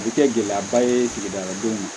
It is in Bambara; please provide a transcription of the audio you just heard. A bɛ kɛ gɛlɛyaba ye sigida denw ma